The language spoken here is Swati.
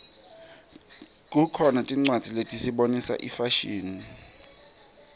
kukhona tincwadzi letisibonisa ifashini